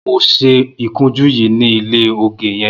Mó ṣé ikùnjù yi ni ilé ógé yèn